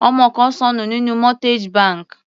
Ọmọ kan ṣọnù nínú mortgage bank.